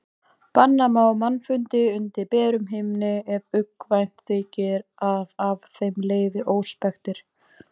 Banna má mannfundi undir berum himni ef uggvænt þykir að af þeim leiði óspektir.